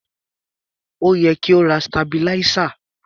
Ó yẹ kí o ra sitabiláísà.